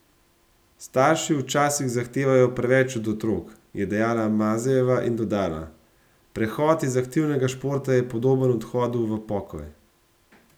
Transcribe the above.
Starši včasih zahtevajo preveč od otrok,' je dejala Mazejeva in dodala: 'Prehod iz aktivnega športa je podoben odhodu v pokoj.